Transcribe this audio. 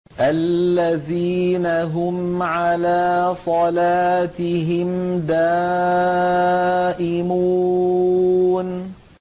الَّذِينَ هُمْ عَلَىٰ صَلَاتِهِمْ دَائِمُونَ